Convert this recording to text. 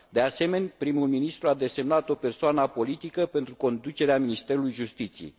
De asemenea, primul ministru a desemnat o persoană apolitică pentru conducerea Ministerului Justiției.